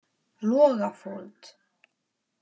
Logafold